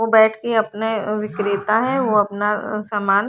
और बैठ के अपने विक्रेता है वो अपना सामान--